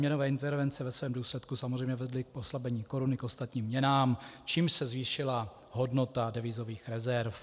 Měnové intervence ve svém důsledku samozřejmě vedly k oslabení koruny k ostatním měnám, čímž se zvýšila hodnota devizových rezerv.